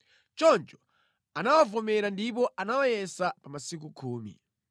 Choncho anawavomera ndipo anawayesa pa masiku khumi.